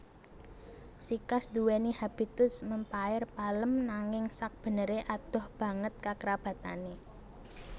Sikas nduweni habitus mèmpaer palem nanging sakbeneré adoh banget kakerabatané